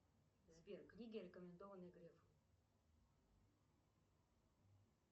сбер книги рекомендованные грефом